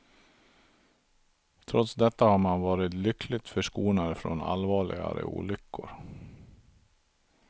Trots detta har man varit lyckligt förskonade från allvarligare olyckor.